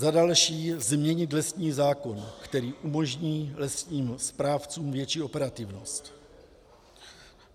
Za další, změnit lesní zákon, který umožní lesním správcům větší operativnost.